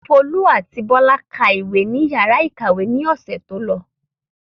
Folú àti Bọ́lá ka ìwé ní ìyàrá-ìkàwé lọ́sẹ̀ tó lọ.